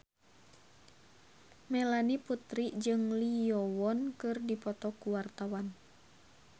Melanie Putri jeung Lee Yo Won keur dipoto ku wartawan